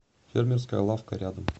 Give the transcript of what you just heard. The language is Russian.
фермерская лавка рядом